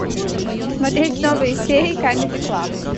смотреть новые серии камеди клаб